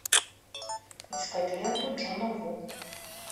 искать ленту джона ву